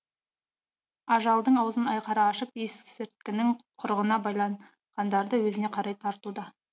ажалдың аузын айқара ашып есірткінің құрығына байланғандарды өзіне қарай тартуда